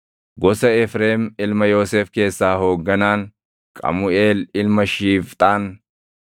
gosa Efreem ilma Yoosef keessaa hoogganaan, Qamuʼeel ilma Shiifxaan;